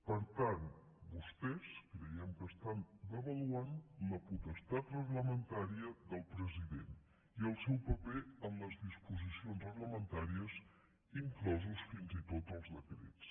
per tant vostès creiem que estan devaluant la potestat reglamentària del president i el seu paper en les disposicions reglamentàries inclosos fins i tot els decrets